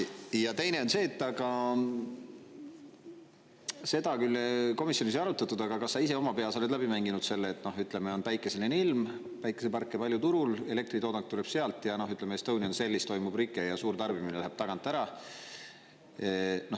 Ja teine on see, et seda küll komisjonis ei arutatud, aga kas sa ise oma peas oled läbi mänginud selle, et on päikeseline ilm, päikeseparke palju turul, elektritoodang tuleb sealt, aga ütleme, Estonian Cellis toimub rike ja suur tarbimine läheb tagant ära.